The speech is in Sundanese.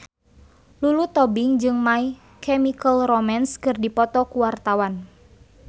Lulu Tobing jeung My Chemical Romance keur dipoto ku wartawan